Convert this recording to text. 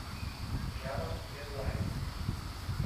рядом медлайн